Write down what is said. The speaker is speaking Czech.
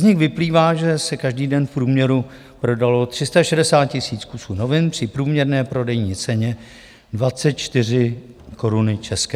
Z nich vyplývá, že se každý den v průměru prodalo 360 000 kusů novin při průměrné prodejní ceně 24 koruny české.